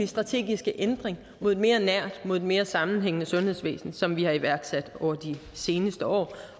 strategiske ændring mod et mere nært mod et mere sammenhængende sundhedsvæsen som vi har iværksat over de seneste år